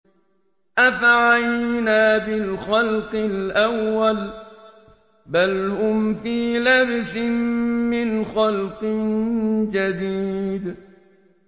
أَفَعَيِينَا بِالْخَلْقِ الْأَوَّلِ ۚ بَلْ هُمْ فِي لَبْسٍ مِّنْ خَلْقٍ جَدِيدٍ